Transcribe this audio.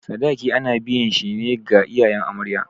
Sadaki ana biyan shi ne ga iyayen amarya.